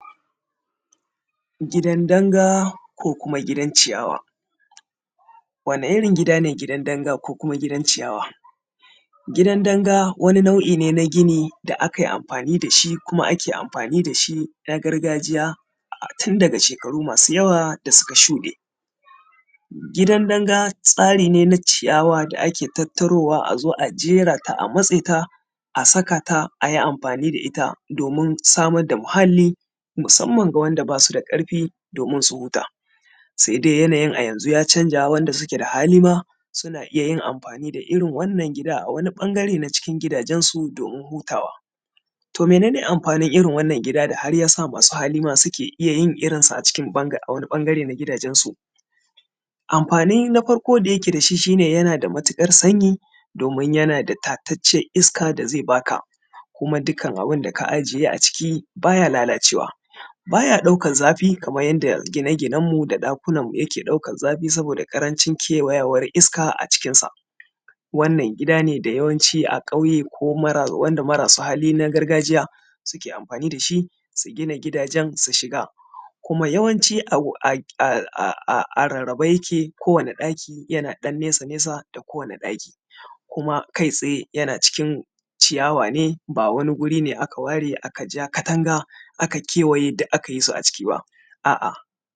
gidan danga ko kuma gidan ciyawa wani irin gida ne ko kuma gidan ciyawa gidan danga wani nau'i ne na gini da a kai amfani da shi kuma ake amfani da shi na gargajiya tun daga shekaru masu yawa da suka shuɗe gidan danga tsari ne na ciyawa da ake tattarowa a zo a jerata a matseta a sakata a yi amfani da ita domin samar da muhalli musamman ga wanda ba su da ƙarfi domin su huta sai dai yanayin a yanzu ya san ya wanda suke da hali ma suna iya yin amfani da irin wannan gida a wani ɓangare na cikin gidajensu domin hutawa to mene ne amfanin irin wannan gida da har yasa masu hali ma suke iya yin irinsa a wani ɓangare na gidajen su amfani na farko da yake da shi shine yana da matuƙar sanyi domin yana da tataccen iska da zai ba ka kuma dukkan abunda ka ajiye a ciki baya lalacewa baya ɗaukan zafi kaman gine ginen mu da ɗakunan mu yake ɗaukan zafi saboda ƙarancin kewayawar iska a cikinsa wannan gida ne da yawanci a ƙauye ko wanda marasa hali na gargajiya su ke amfani da shi su gina gidajen su shiga kuma yawanci a rarrabe yake ko wane ɗaki a ɗan nesa nesa da kowane ɗaki kuma kai tsaye yana cikin ciyawa ne ba wani guri ne aka ware a ka ja katanga aka kewaye duk aka yi su a ciki ba a’a